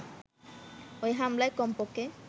ওই হামলায় কমপক্ষে